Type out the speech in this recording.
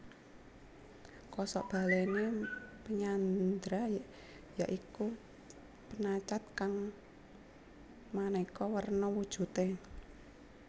Kosok balèné penyandra ya iku penacat kang manéka werna wujudé